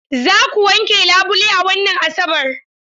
Za ku wanke labule a wannan Asabar?